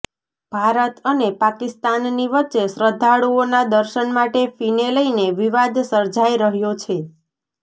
ભારત અને પાકિસ્તાનની વચ્ચે શ્રદ્ધાળુઓના દર્શન માટે ફીને લઈને વિવાદ સર્જાઈ રહ્યો છે